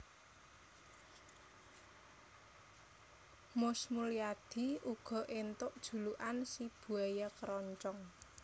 Mus Mulyadi uga entuk julukan si Buaya Keroncong